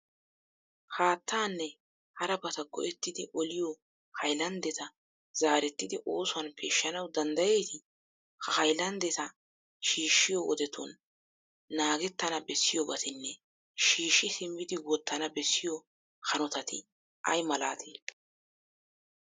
Haattaanne harabata go"ettidi oliyo haylanddeta zaarettidi oosuwan peeshshanawu danddayettii? Ha haylanddeta shiishshiyo wodetun naagettana bessiyobatinne shiishshi simmidi wottana bessiyo hanotati ay malatee?